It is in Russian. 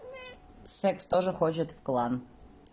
секс тоже хочет в клан